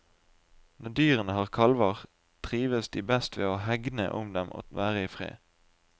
Når dyrene har kalver, trives de best med å hegne om dem og være i fred.